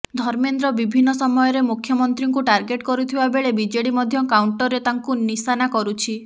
ଧର୍ମେନ୍ଦ୍ର ବିଭିନ୍ନ ସମୟରେ ମୁଖ୍ୟମନ୍ତ୍ରୀଙ୍କୁ ଟାର୍ଗେଟ କରୁଥିବା ବେଳେ ବିଜେଡି ମଧ୍ୟ କାଉଣ୍ଟରରେ ତାଙ୍କୁ ନିଶାନା କରୁଛି